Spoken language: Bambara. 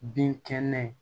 Binkɛnɛ